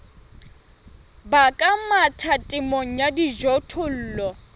baka mathata temong ya dijothollo